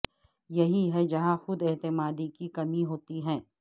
یہی ہے جہاں خود اعتمادی کی کمی ہوتی ہے